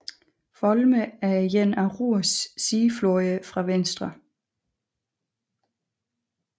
Volme er en af Ruhrs sidefloder fra venstre